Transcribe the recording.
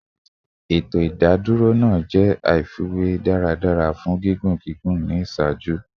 Eto idadoro naa jẹ aifwy daradara fun gigun gigun ni iṣaaju